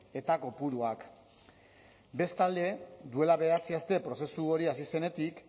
eta kopuruak bestalde duela bederatzi aste prozesu hori hasi zenetik